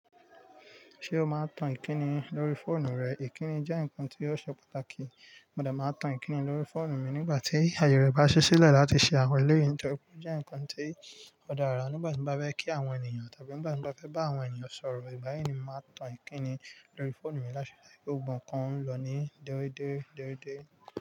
Ṣé o máa ń tan ìkíni lórí fóònù rẹ? Ìkíni jẹ́ nǹkan tí ó ṣe pàtàkì. Mò de máa ń tan ìkíni lórí fóònù mi nígbà tí ayẹ rẹ bá ṣí sílẹ̀ láti ṣe àwọn ekeyu ìtà. Ó jẹ́ nǹkan tí ó dára. Nígbà tí mo bá fẹ́ kí àwọn ènìyàn tàbí nígbà tí mo bá fẹ́ bá àwọn ènìyàn sọ̀rọ̀, ìgbà yẹn ni màá tan ìkíni lórí fóònù mi láṣẹ láìpẹ́. Gbogbo kan ń lọ ní dẹ́rẹ́dẹ́dẹ́rẹ́dẹ́.